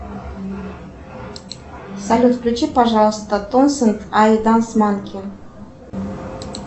салют включи пожалуйста тойсэт ай данс манки